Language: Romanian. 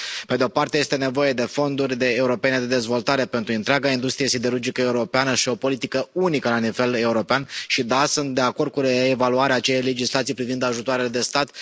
Pe de o parte este nevoie de fonduri europene de dezvoltare pentru întreaga industrie siderurgică europeană și o politică unică la nivel european, și da, sunt de acord cu reevaluarea acelei legislații privind ajutoarele de stat.